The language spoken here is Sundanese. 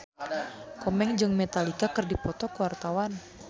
Komeng jeung Metallica keur dipoto ku wartawan